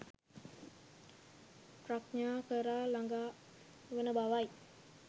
ප්‍රඥාව කරා ළඟා වන බවයි.